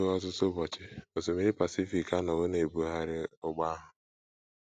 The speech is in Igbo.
Ruo ọtụtụ ụbọchị, osimiri Pacific anọwo na - ebugharị ụgbọ ahụ.